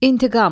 İntiqam.